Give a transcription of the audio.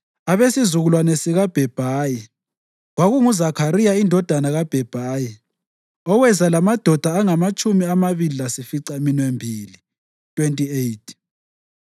abesizukulwane sikaBhebhayi, kwakunguZakhariya indodana kaBhebhayi, oweza lamadoda angamatshumi amabili lasificaminwembili (28);